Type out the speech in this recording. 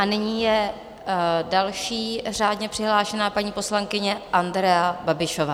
A nyní je další řádně přihlášená paní poslankyně Andrea Babišová.